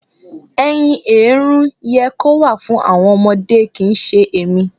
ẹyin èérún yẹ kó wà fún àwọn ọmọdé kì ń ṣe èmi.